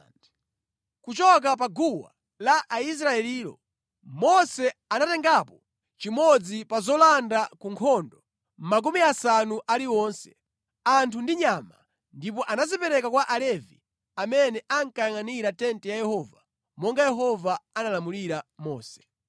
Kuchoka pa gawo la Aisraelilo, Mose anatengapo chimodzi pa zolanda ku nkhondo makumi asanu aliwonse, anthu ndi nyama, ndipo anazipereka kwa Alevi amene ankayangʼanira tenti ya Yehova monga Yehova analamulira Mose.